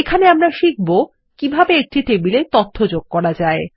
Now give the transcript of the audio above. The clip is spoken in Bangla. এখানে আমরা শিখব কিভাবে একটি টেবিলে তথ্য যোগ করা যায়